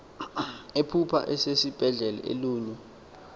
ephupha esesibhedlele elunywa